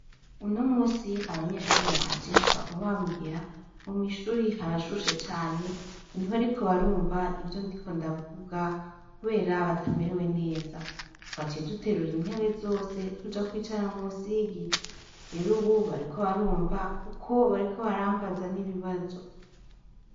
Unomunsi abanyeshure banje baguma bambwira ngo mwishuri harashushe cane ngo ntibariko barumva ivyo ndiko bdavuga kubera batamerewe neza twaciye duterura intebe zose tuja kwicara musi y' igiti rero ubu bariko barumva kuko bariko barambaza n' ibibazo.